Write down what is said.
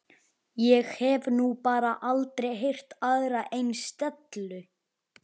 Ég hef nú bara aldrei heyrt aðra eins dellu!